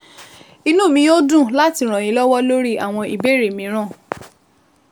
Inú mi yóò dùn láti ràn yín lọ́wọ́ lórí àwọn ìbéèrè mìíràn